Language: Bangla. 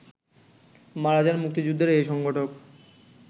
মারা যান মুক্তিযুদ্ধের এ সংগঠক